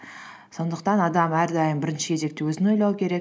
сондықтан адам әрдайым бірінші кезекте өзін ойлау керек